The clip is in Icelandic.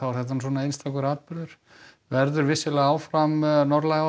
þetta er svona einstakur atburður verður áfram norðlæg átt